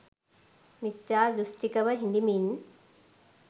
මිත්‍යා දෘෂ්ටිකව හිඳිමින්